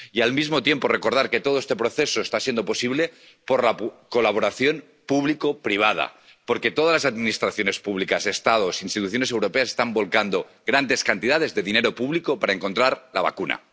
Y, al mismo tiempo, cabe recordar que todo este proceso está siendo posible gracias a la colaboración público privada, porque todas las administraciones públicas, Estados, instituciones europeas están volcando grandes cantidades de dinero público para encontrar la vacuna.